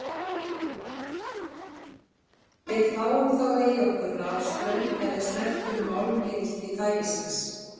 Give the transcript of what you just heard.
Við fáum þá í okkur rafstraum ef við snertum málmhylki tækisins.